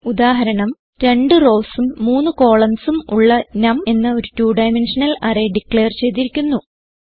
ഉദാഹരണം 2 റൌസ് ഉം 3 കോളംൻസ് ഉം ഉള്ള നം എന്ന ഒരു 2 ഡൈമെൻഷണൽ അറേ ഡിക്ലയർ ചെയ്തിരിക്കുന്നു